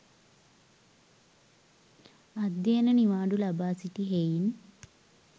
අධ්‍යයන නිවාඩු ලබා සිටි හෙයින්